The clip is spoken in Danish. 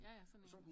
Ja ja sådan en